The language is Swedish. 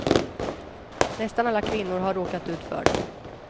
Nästan alla kvinnor har råkat ut för dem.